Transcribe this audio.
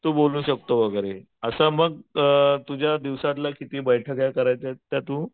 तू बोलू शकतो वगैरे असं मग अ तुझ्या दिवसातल्या किती बैठका करायच्या आहेत तू